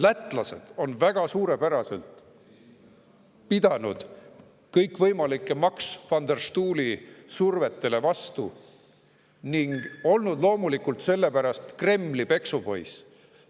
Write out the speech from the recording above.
Läti on pidanud väga suurepäraselt kõikvõimalikele Max van der Stoeli survetele vastu ning olnud loomulikult sellepärast Kremli peksupoiss.